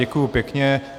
Děkuji pěkně.